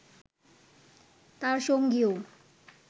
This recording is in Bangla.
তার সঙ্গীও